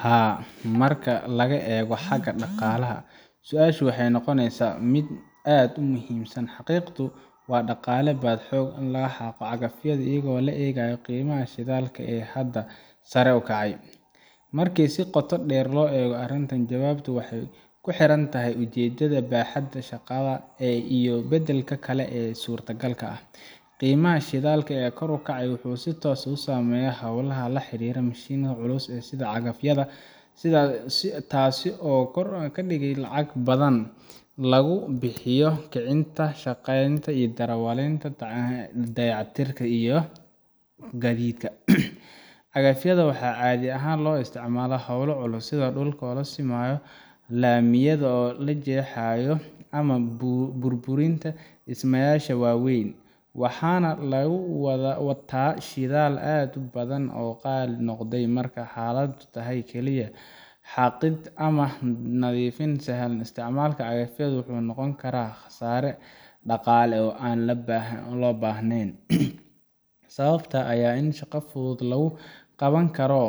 Haa, marka laga eego xagga dhaqaalaha, su’aashu waxay noqonaysaa mid aad muhiim u ah—xaqiiqdii ma dhaqaale baa in la xaaqo cagafyada iyadoo la eegayo qiimaha shidaalka ee haatan sare u kacay? Marka si qoto dheer loo eego arrinta, jawaabtu waxay ku xiran tahay ujeedada, baaxadda shaqada iyo beddelka kale ee suurtagalka ah. Qiimaha shidaalka oo kor u kacay wuxuu si toos ah u saameeyaa hawlaha la xiriira mashiinnada culus sida cagafyada, taas oo ka dhigan in lacag badan lagu bixiyo kicinta, shaqaaleynta darawaliinta, dayactirka iyo gaadiidka. Cagafyada waxaa caadi ahaan loo isticmaalaa hawlo culus sida dhulka la simayo, laamiyada la jeexayo ama burburinta dhismayaasha waaweyn, waxaana lagu wataa shidaal aad u badan oo qaali noqday. Marka xaaladdu tahay kaliya xaaqid ama nadiifin sahlan, isticmaalka cagafyada wuxuu noqon karaa khasaare dhaqaale oo aan loo baahnayn. Sababta ayaa ah in shaqo fudud lagu qaban karo